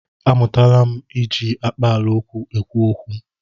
A mụtala m iji akpaala okwu ekwu okwu.